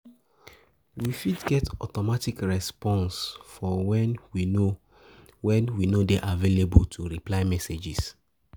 We fit get automatic response for when we no when we no dey available to reply message